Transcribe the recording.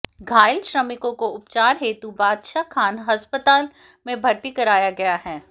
घायल श्रमिकों को उपचार हेतु बादशाह खान अस्पताल में भर्ती कराया गया है